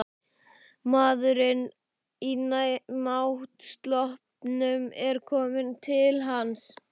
Maðurinn í náttsloppnum er kominn til hans.